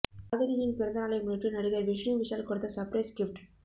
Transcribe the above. காதலியின் பிறந்த நாளை முன்னிட்டு நடிகர் விஷ்ணு விஷால் கொடுத்த சர்ப்ரைஸ் கிஃப்ட்